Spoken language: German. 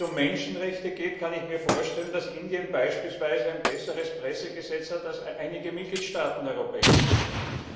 Wenn es um Menschenrechte geht, kann ich mir vorstellen, dass Indien beispielsweise ein besseres Pressegesetz hat als einige Mitgliedstaaten der Europäischen Union.